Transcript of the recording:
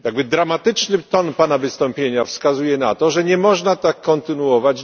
Dramatyczny ton pana wystąpienia wskazuje na to, że nie można tak dalej kontynuować.